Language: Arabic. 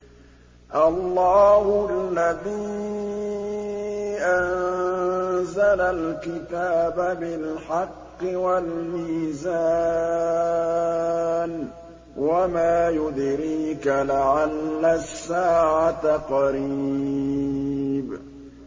اللَّهُ الَّذِي أَنزَلَ الْكِتَابَ بِالْحَقِّ وَالْمِيزَانَ ۗ وَمَا يُدْرِيكَ لَعَلَّ السَّاعَةَ قَرِيبٌ